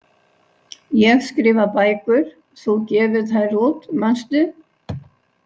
Ég skrifa bækur, þú gefur þær út, manstu?